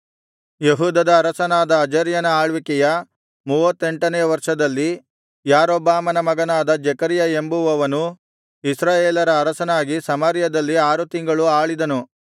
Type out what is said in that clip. ಯೆಹೂದದ ಅರಸನಾದ ಅಜರ್ಯನ ಆಳ್ವಿಕೆಯ ಮೂವತ್ತೆಂಟನೆಯ ವರ್ಷದಲ್ಲಿ ಯಾರೊಬ್ಬಾಮನ ಮಗನಾದ ಜೆಕರ್ಯ ಎಂಬುವವನು ಇಸ್ರಾಯೇಲರ ಅರಸನಾಗಿ ಸಮಾರ್ಯದಲ್ಲಿ ಆರು ತಿಂಗಳು ಆಳಿದನು